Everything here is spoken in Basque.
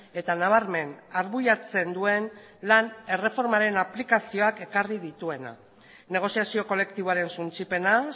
eta nabarmen arbuiatzen duen lan erreformaren aplikazioak ekarri dituena negoziazio kolektiboaren suntsipena